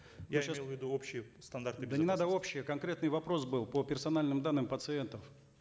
я сейчас я имел в виду общие стандарты безопасности не надо общее конкретный вопрос был по персональным данным пациентов